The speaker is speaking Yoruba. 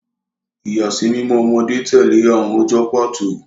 Ìyàsímímọ́ ọmọdé tẹ̀lé àwọn ọjọ́ pàtó.